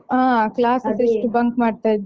ಹಾ classes ಎಷ್ಟು bunk ಮಾಡ್ತಾ ಇದ್ವಿ.